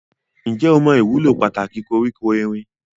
Ǹjẹ́ o mọ ìwúlò pàtàkì koríko erin?